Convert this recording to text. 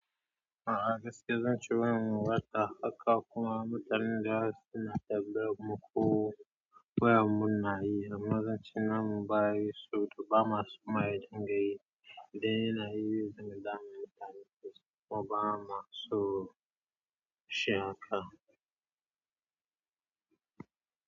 A'a gaskiya zan ce wannan wata haka kuma mutanen da suna dabbara muku wayam muna yi amma zan ce nan ba yi so da ba masu mahaɗin ganye. Idan yana yi, zan damu da mutane saboda ba ma so shi haka.